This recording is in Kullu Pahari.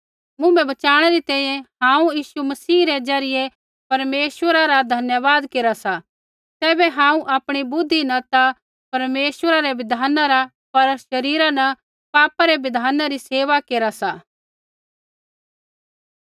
मुँभै बचाणै री तैंईंयैं हांऊँ यीशु मसीह रै ज़रियै परमेश्वरा रा धन्यवाद केरा सा तैबै हांऊँ आपणी बुद्धि न ता परमेश्वरै रै बिधान रा पर शरीरा न पापा रै बिधाना री सेवा केरा सा